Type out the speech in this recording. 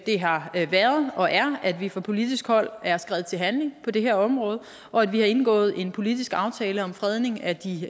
har været og er at vi fra politisk hold er skredet til handling på det her område og at vi har indgået en politisk aftale om fredning af de